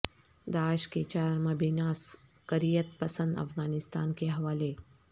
داعش کے چار مبینہ عسکریت پسند افغانستان کے حوالے